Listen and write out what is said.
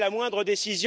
Monsieur